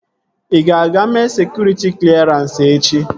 Ị ga-aga mee sekụritị klerans echi?